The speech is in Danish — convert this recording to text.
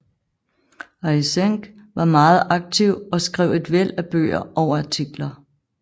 Eysenck var meget aktiv og skrev et væld af bøger og artikler